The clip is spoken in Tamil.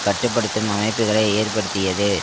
கட்டு படுத்தும் அமைப்புக்களை ஏற்படுத்தியது